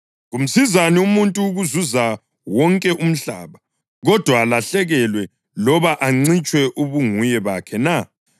Kumsizani umuntu ukuzuza wonke umhlaba, kodwa alahlekelwe loba ancitshwe ubunguye bakhe na?